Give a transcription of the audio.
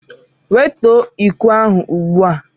Wetuo iko ahụ ugbu a!